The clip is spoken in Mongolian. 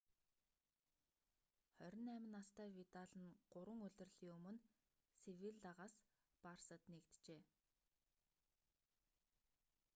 28 настай видал нь гурван улирлын өмнө севиллагаас барсад нэгджээ